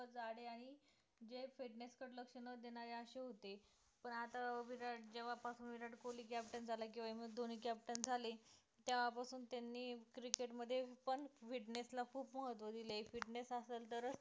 जाडे आणि जे fitness कडे लक्ष न देणारे असे होते पण आता विराट जेव्हा पासून विराट कोहली captain झाला किंवा एमएस धोनी captain झाले, तेव्हापासून त्यांनी cricket मध्ये पण fitness ला खूप महत्त्व दिले fitness असेल तरच